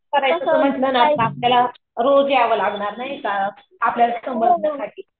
करायचं म्हंटल ना आपल्याला रोज यावं लागणार. नाही का आपल्याला समजण्यासाठी.